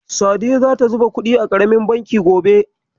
Sadiya zata zuba kuɗi a ƙaramin banki gobe.